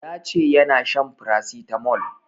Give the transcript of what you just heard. Ya ce yana shan paracetamol